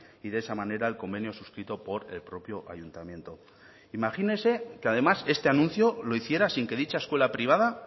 y de esa manera el convenio suscrito por el propio ayuntamiento imagínese que además este anuncio lo hiciera sin que dicha escuela privada